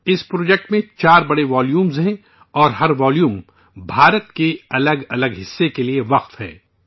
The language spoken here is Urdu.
اس پروجیکٹ میں چار بڑے والیومز ہیں اور ہر والیوم بھارت کے الگ الگ حصے کے بارے میں ہے